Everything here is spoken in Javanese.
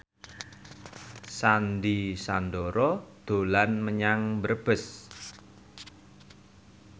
Sandy Sandoro dolan menyang Brebes